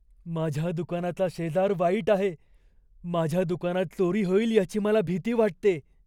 माझ्या दुकानाचा शेजार वाईट आहे. माझ्या दुकानात चोरी होईल याची मला भीती वाटते.